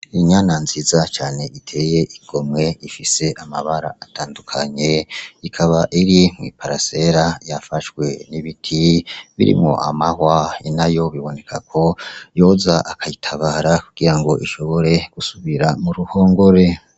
Inyana nziza cane biteye igomwe :ifis'amabara atandukanye ikaba mwiparasera yafashwe n'ibiti biri, iruhande yayo bikeneweko inayo yoza akayitabara kugirango isubire muruhongore.